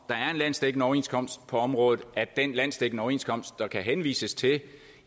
der er en landsdækkende overenskomst på området at den landsdækkende overenskomst der kan henvises til